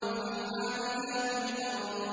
فَالْحَامِلَاتِ وِقْرًا